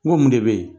N ko mun de bɛ ye